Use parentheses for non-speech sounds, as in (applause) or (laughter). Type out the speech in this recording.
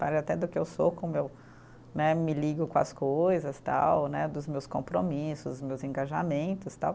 (unintelligible) até do que eu sou, como eu né me ligo com as coisas tal né, dos meus compromissos, meus engajamentos tal.